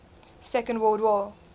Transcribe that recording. second world war